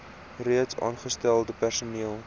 reeds aangestelde personeel